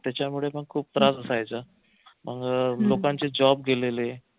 त्याच्यामुळे पण खूप त्रास असायचा अन लोकांचे job गेलेले